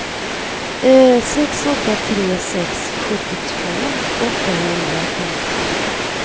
sex åtta tre sex sjuttiotvå åttahundrafemtiotre